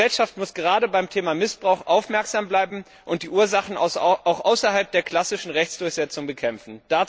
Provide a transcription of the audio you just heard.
Eine Gesellschaft muss gerade beim Thema Missbrauch aufmerksam bleiben und die Ursachen auch außerhalb der klassischen Rechtsdurchsetzung bekämpfen.